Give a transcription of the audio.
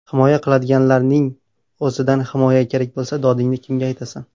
Himoya qiladiganlarning o‘zidan himoya kerak bo‘lsa, dodingni kimga aytasan.